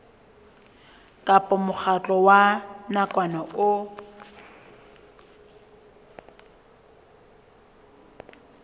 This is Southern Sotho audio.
kapa mokgatlo wa nakwana o